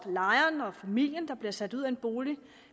lejeren og familien der bliver sat ud af en bolig